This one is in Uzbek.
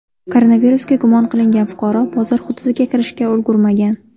Koronavirusga gumon qilingan fuqaro bozor hududiga kirishga ulgurmagan.